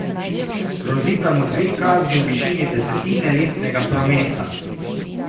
Grozita mu dve kazni v višini desetine letnega prometa.